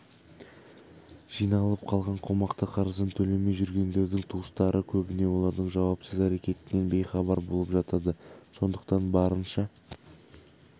жиналып қалған қомақты қарызын төлемей жүргендердің туыстары көбіне олардың жауапсыз әрекетінен бейхабар болып жатады сондықтан барынша